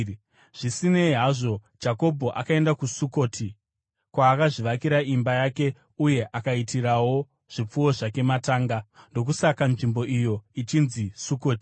Zvisinei hazvo, Jakobho akaenda kuSukoti, kwaakazvivakira imba yake uye akaitirawo zvipfuwo zvake matanga. Ndokusaka nzvimbo iyo ichinzi Sukoti.